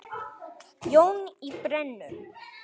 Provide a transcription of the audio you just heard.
Jón í Brennu.